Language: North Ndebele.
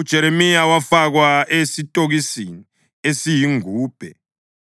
UJeremiya wafakwa esitokisini esiyingubhe